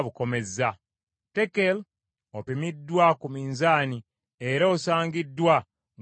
“ Tekel: Opimiddwa ku minzaani, era osangiddwa ng’obulako;